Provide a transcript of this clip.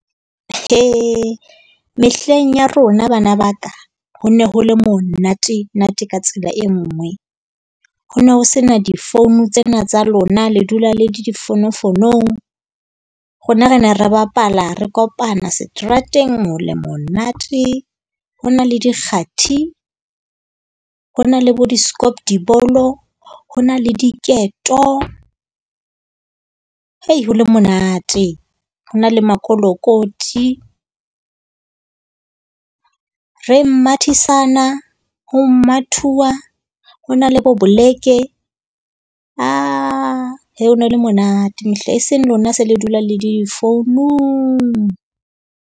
Hee mehleng ya rona bana ba ka, ho ne ho le monate-nate ka tsela e nngwe. Ho no ho sena difounu tsena tsa lona, le dula le difonofonong. Rona re ne re bapala, re kopana seterateng ho le monate. Ho na le dikgati. Ho na le bo di skop die bolo. Ho na le diketo. Hei, ho le monate ho na le makolotikoti. Re mathisana ho mathuwa ho na le bo boleke. Ah ho no le monate mehle, eseng lona se le dula le le difounung.